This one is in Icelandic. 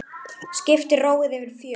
Skipi róið yfir fjörð.